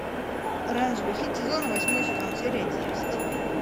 оранжевый хит сезона восьмой сезон серия десять